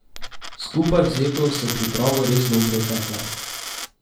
Skupaj vzeto so pripravo res dobro tekle.